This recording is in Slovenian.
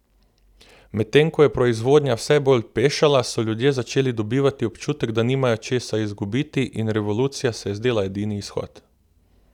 Medtem ko je proizvodnja vse bolj pešala, so ljudje začeli dobivati občutek, da nimajo česa izgubiti, in revolucija se je zdela edini izhod.